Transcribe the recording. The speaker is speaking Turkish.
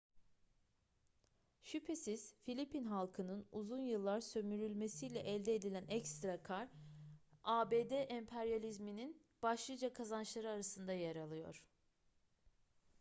şüphesiz filipin halkının uzun yıllar sömürülmesiyle elde edilen ekstra kâr abd emperyalizminin başlıca kazançları arasında yer alıyor